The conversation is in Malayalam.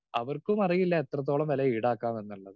സ്പീക്കർ 2 അവർക്കും അറിയില്ല എത്രത്തോളം വില ഈടാക്കാം എന്നുള്ളത്.